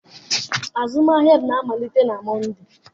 Azụmahịa na-amalite na Mọnde.